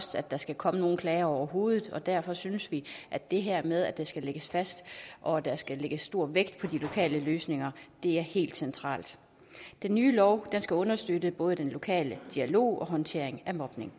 at der skal komme nogen klager overhovedet og derfor synes vi at det her med at det skal lægges fast og at der skal lægges stor vægt på de lokale løsninger er helt centralt den nye lov skal understøtte både den lokale dialog og håndtering af mobning